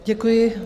Děkuji.